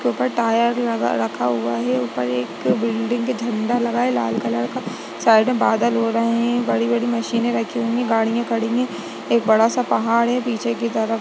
इसके ऊपर टायर लगा रखा हुआ है ऊपर एक बिल्डिंग पे झंडा लगा है लाल कलर का साइड में बादल हो रहे है बड़ी बड़ी मशीने रखीं हुई है गाड़िया खड़ी है एक बड़ा सा पहाड़ है पीछे की तरफ।